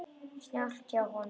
Snjallt hjá honum.